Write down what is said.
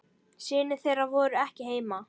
Synir þeirra voru ekki heima.